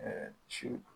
siw